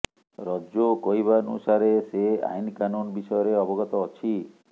ରଜୋ କହିବାନୁସାରେ ସେ ଆଇନ୍ କାନୁନ୍ ବିଷୟରେ ଅବଗତ ଅଛି